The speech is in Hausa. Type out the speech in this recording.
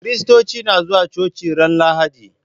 Kiristoci na zuwa coci ran lahadi